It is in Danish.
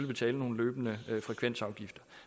betale nogle løbende frekvensafgifter